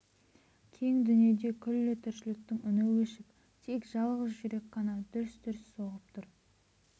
кең дүниеде күллі тіршіліктің үні өшіп тек жалғыз жүрек қана дүрс-дүрс соғып тұр